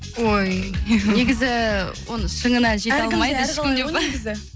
ой негізі оның шыңына жете алмайды ешкімде деп па